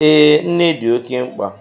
Ee, nne dị oké mkpa